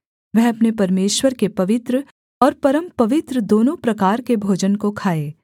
वह अपने परमेश्वर के पवित्र और परमपवित्र दोनों प्रकार के भोजन को खाए